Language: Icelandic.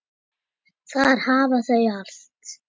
Þar hafa þau allt.